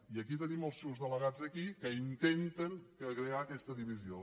i aquí tenim els seus delegats aquí que intenten crear aquesta divisió